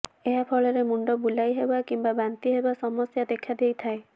ଏହା ଫଳରେ ମୁଣ୍ଡ ବୁଲାଇହେବା କିମ୍ବା ବାନ୍ତି ହେବା ସମସ୍ୟା ଦେଖାଦେଇଥାଏ